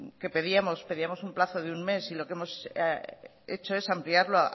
que pedíamos un plazo de un mes y lo que hemos hecho es ampliarlo